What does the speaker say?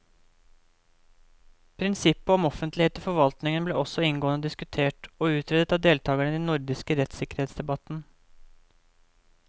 Prinsippet om offentlighet i forvaltningen ble også inngående diskutert og utredet av deltakerne i den nordiske rettssikkerhetsdebatten.